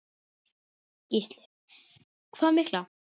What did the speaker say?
Gísli: Hvað mikla?